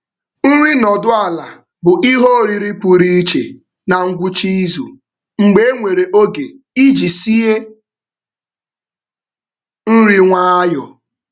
Nri um nọdụ ala bụ ihe oriri pụrụ iche na ngwụcha izu mgbe enwere oge iji sie nri um nwayọọ.